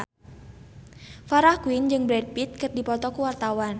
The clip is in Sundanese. Farah Quinn jeung Brad Pitt keur dipoto ku wartawan